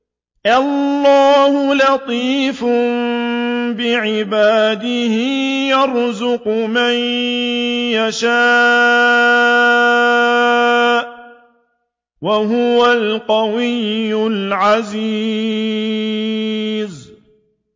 اللَّهُ لَطِيفٌ بِعِبَادِهِ يَرْزُقُ مَن يَشَاءُ ۖ وَهُوَ الْقَوِيُّ الْعَزِيزُ